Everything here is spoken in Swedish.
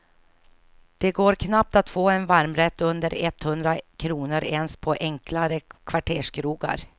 Det går knappt att få en varmrätt under etthundra kronor ens på enklare kvarterskrogar.